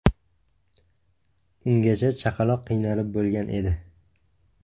Ungacha chaqaloq qiynalib bo‘lgan edi.